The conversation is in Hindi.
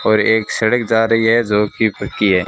और एक सड़क जा रही है जो की पक्की है।